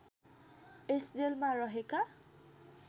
यस जेलमा रहेका